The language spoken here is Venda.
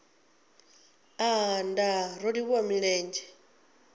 aa nndaa ro livhuwa milenzhe